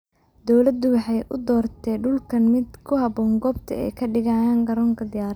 Dawladdu waxay u dooratay dhulkan mid ku habboon goobta ay kadiigayan Garoonka Diyaaradaha.